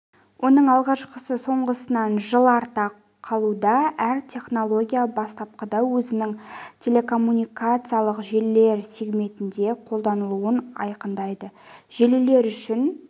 оның алғашқысы соңғысынан жыл артта қалуда әр технология бастапқыда өзінің телекоммуникациялық желілер сегментінде қолданылуын айқындайды желілер үшін